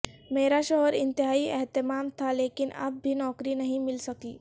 میرا شوہر انتہائی اہتمام تھا لیکن اب بھی نوکری نہیں مل سکی